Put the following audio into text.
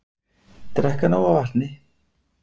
Drekka nóg af vatni